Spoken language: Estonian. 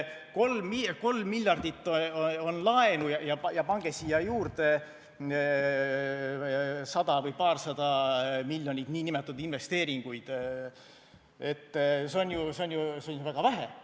3 miljardit on laenu ja pange siia juurde 100 või 200 miljonit nn investeeringuid, see on ju väga vähe.